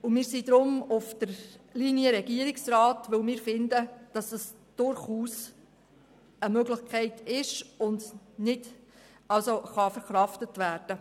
Wir sind deshalb auf der Linie des Regierungsrats, weil wir finden, die Massnahme sei durchaus eine Möglichkeit und könne verkraftet werden.